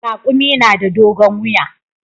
Raƙumi na da dogon wuya.